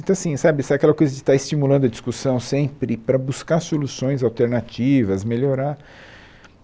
Então, assim, sabe sabe aquela coisa de estar estimulando a discussão sempre para buscar soluções alternativas, melhorar?